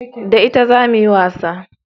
Da ita zamu yi wasa